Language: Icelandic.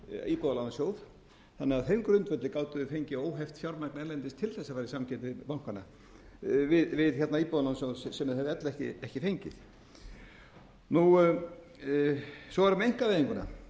íbúðalánasjóð þannig að á þeim grundvelli gátu þeir fengið óheft fjármagn erlendis til þess að fara í samkeppni við íbúðalánasjóðinn sem þeir hefðu ella ekki fengið svo er það með einkavæðinguna